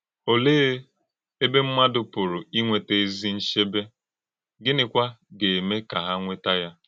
Òlee ébé ḿmádụ́ pụ̀rụ̀ ínwètá ezì nchebé, gịnịkwa gà - èmé kà hà nwètá ya?